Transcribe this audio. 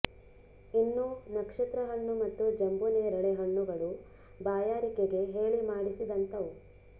ಇನ್ನು ನಕ್ಷತ್ರ ಹಣ್ಣು ಮತ್ತು ಜಂಬುನೇರಳೆ ಹಣ್ಣುಗಳು ಬಾಯಾರಿಕೆಗೆ ಹೇಳಿ ಮಾಡಿಸಿದಂಥವು